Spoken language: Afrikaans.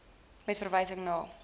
met verwysing na